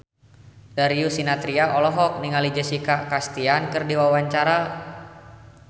Darius Sinathrya olohok ningali Jessica Chastain keur diwawancara